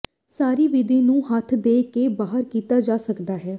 ਸਾਰੀ ਵਿਧੀ ਨੂੰ ਹੱਥ ਦੇ ਕੇ ਬਾਹਰ ਕੀਤਾ ਜਾ ਸਕਦਾ ਹੈ